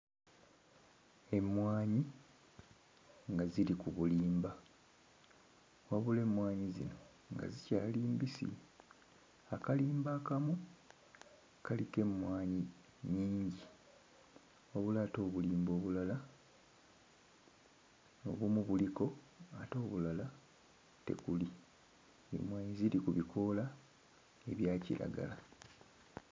Emmwanyi nga ziri ku bulimba wabula emmwanyi zino nga zikyali mbisi. Akalimba akamu kaliko emmwanyi nnyingi wabula ate obulimba obulala obumu buliko ate obulala tekuli; emmwanyi ziri ku bikoola ebya kiragala.